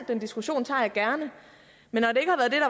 den diskussion tager jeg gerne men